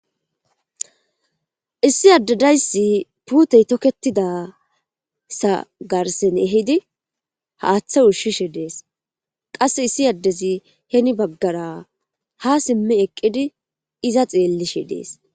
Issi adde daysi pute toketizaysa garsi ehidii haththe ushishe dess qasse issi ade hinibagara ha simi eqidi eza xeelishe dess